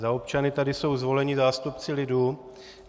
Za občany tady jsou zvoleni zástupci lidu.